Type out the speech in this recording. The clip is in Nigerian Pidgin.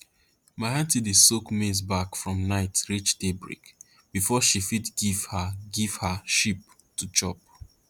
my aunty dey soak maize bark from night reach daybreak before she fit give her give her sheep to chop